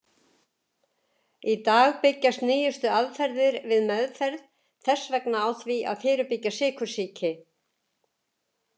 Í dag byggjast nýjustu aðferðir við meðferð þess vegna á því að fyrirbyggja sykursýki.